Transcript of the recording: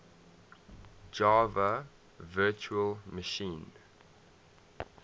java virtual machine